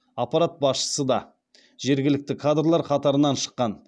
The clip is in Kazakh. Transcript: аппарат басшысы да жергілікті кадрлар қатарынан шыққан